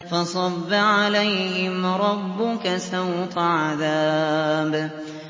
فَصَبَّ عَلَيْهِمْ رَبُّكَ سَوْطَ عَذَابٍ